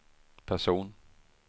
person